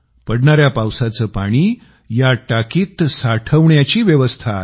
पडणाऱ्या पावसाचे पाणी या टाकीत रोखण्याची व्यवस्था आहे